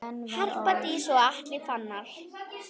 Harpa Dís og Atli Fannar.